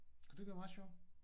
Kunne det ikke være meget sjovt?